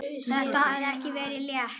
Þetta hafði ekki verið létt.